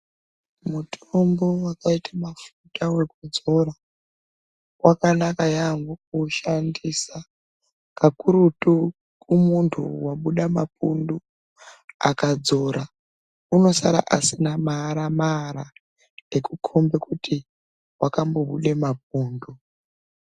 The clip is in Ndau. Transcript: Mutombo wakaita mafuta ekudzora wakanaka yaamho kuushandisa. Kakurutu kumuntu wabuda mapundu akadzora unosara asina maara-maara ekukhomba kuti wakambobuda mapundu.